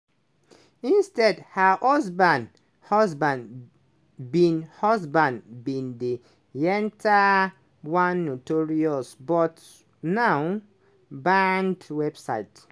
instead her husband husband bin husband bin de yenta one notorious but now banned website